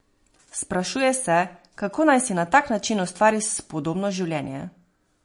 Sprašuje se, kako naj si na tak način ustvari spodobno življenje.